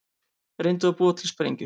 Reyndu að búa til sprengjur